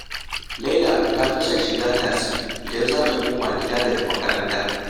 Laila ta fi son shiga tasi idan za ta koma gida daga makaranta